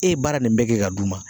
E ye baara nin bɛɛ kɛ ka d'u ma